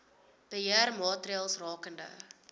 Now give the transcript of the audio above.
beheer maatreëls rakende